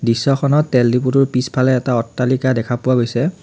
দৃশ্যখনত তেল ডিপোটোৰ পিছফালে এটা অট্টালিকা দেখা পোৱা গৈছে।